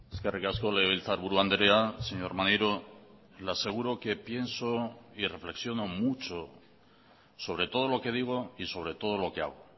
eskerrik asko legebiltzarburu andrea señor maneiro le aseguro que pienso y reflexiono mucho sobre todo lo que digo y sobre todo lo que hago